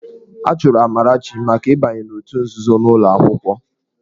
A chụrụ Amarachi maka ịbanye n'òtù nzuzo n'ụlọ akwụkwọ.